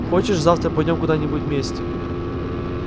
хочешь завтра пойдём куда-нибудь вместе